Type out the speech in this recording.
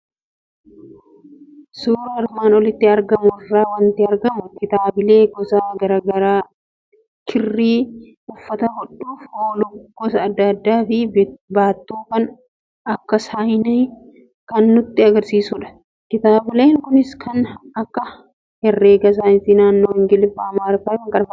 Suuraa armaan olitti argamu irraa waanti argamu, kitaabilee gosa garaagaraa, qirri uffata hodhuuf ooluu gosa adda addaafi baattuu kan akka saayinaa kan nutti agarsiisudha. Kitaabileen kunis kan akka Herrega, Saayinsii naannoo, Ingiliffa, Amaarinyafi kkfdha.